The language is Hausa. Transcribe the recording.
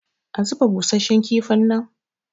a zuba busasshen kifin nan?